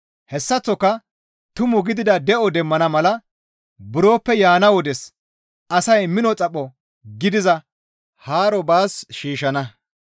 Hessaththoka tumu gidida de7o demmana mala buroppe yaana wodes asay mino xapho gidiza haaro baas shiishshana.